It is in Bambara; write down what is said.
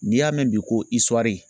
N'i y'a mɛn bi ko